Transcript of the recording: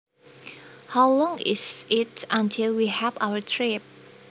How long is it until we have our trip